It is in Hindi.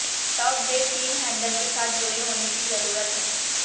तब वे तीन हैंडल के साथ जुड़े होने की जरूरत है